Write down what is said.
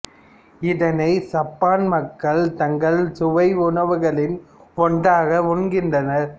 இதனை சப்பான் மக்கள் தங்கள் சுவை உணவுகளின் ஒன்றாக உண்கின்றனர்